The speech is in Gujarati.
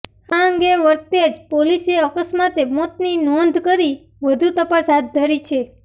આ અંગે વરતેજ પોલીસે અકસ્માતે મોતની નોંધ કરી વધુ તપાસ હાથ ધરી છે